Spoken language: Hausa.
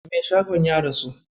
Mai shagon ya rasu.